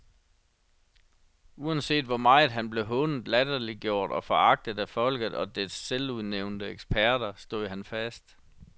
Uanset hvor meget han blev hånet, latterliggjort og foragtet af folket og dets selvudnævnte eksperter, stod han fast.